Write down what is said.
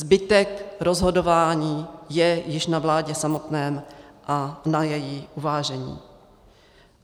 Zbytek rozhodování je již na vládě samotné a na jejím uvážení.